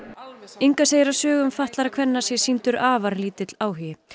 Inga segir að sögum fatlaðra kvenna sé sýndur afar lítill áhugi